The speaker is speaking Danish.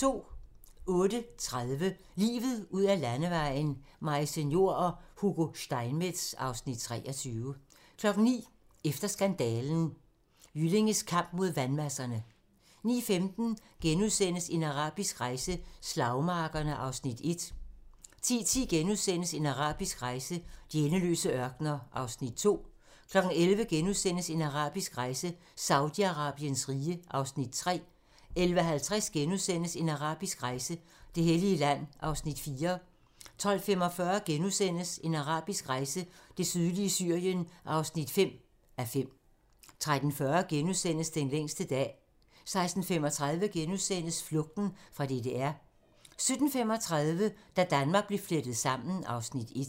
08:30: Livet ud ad landevejen: Maise Njor og Hugo Steinmetz (Afs. 23) 09:00: Efter skandalen: Jyllinges kamp mod vandmasserne 09:15: En arabisk rejse: Slagmarkerne (1:5)* 10:10: En arabisk rejse: De endeløse ørkener (2:5)* 11:00: En arabisk rejse: Saudi-Arabiens rige (3:5)* 11:50: En arabisk rejse: Det hellige land (4:5)* 12:45: En arabisk rejse: Det sydlige Syrien (5:5)* 13:40: Den længste dag * 16:35: Flugten fra DDR * 17:35: Da Danmark blev flettet sammen (Afs. 1)